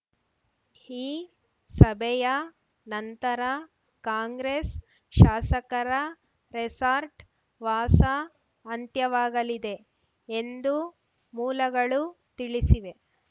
ಈ ಸಭೆಯ ನಂತರ ಕಾಂಗ್ರೆಸ್‌ ಶಾಸಕರ ರೆಸಾರ್ಟ್‌ ವಾಸ ಅಂತ್ಯವಾಗಲಿದೆ ಎಂದು ಮೂಲಗಳು ತಿಳಿಸಿವೆ